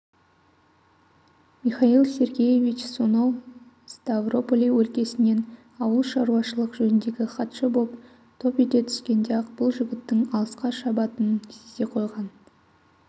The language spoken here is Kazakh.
михаил сергеевич сонау ставрополь өлкесінен ауылшаруашылық жөніндегі хатшы боп топ ете түскенде-ақ бұл жігіттің алысқа шабатынын сезе қойған